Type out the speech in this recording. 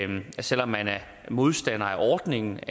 man selv om man er modstander af ordningen